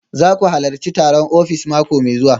Za ku halarci taron ofis mako mai zuwa